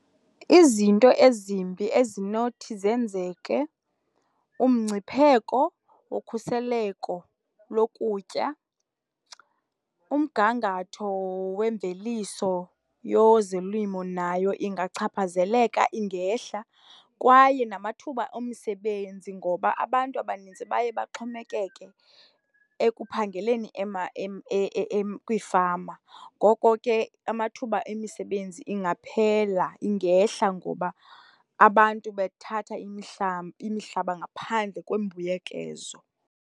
Izinto ezimbi ezinothi zenzeke, umngcipheko wokhuseleko lokutya, umgangatho wemveliso yezolimo nayo ingachaphazeleka, ingehla. Kwaye namathuba omsebenzi ngoba abantu abanintsi baye baxhomekeke ekuphangeleni kwiifama, ngoko ke amathuba emisebenzi ingaphela, ingehla ngoba abantu bethatha imihlaba ngaphandle kwembuyekezo.